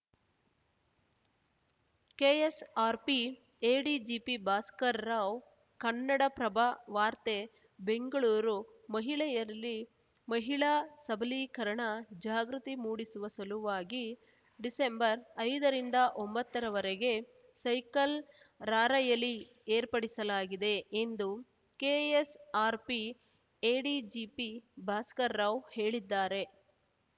KSRP ADGP Bhaskar Rao Kannada Prabha ವಾರ್ತೆ ಬೆಂಗಳೂರು ಮಹಿಳೆಯರಲ್ಲಿ ಮಹಿಳಾ ಸಬಲೀಕರಣ ಜಾಗೃತಿ ಮೂಡಿಸುವ ಸಲುವಾಗಿ ಡಿಸೆಂಬರ್ಐದ ರಿಂದ ಒಂಬತ್ತರವರೆಗೆ ಸೈಕಲ್‌ ರಾರ‍ಯಲಿ ಏರ್ಪಡಿಸಲಾಗಿದೆ ಎಂದು ಕೆಎಸ್‌ಆರ್‌ಪಿ ಎಡಿಜಿಪಿ ಭಾಸ್ಕರ್‌ರಾವ್‌ ಹೇಳಿದ್ದಾರೆ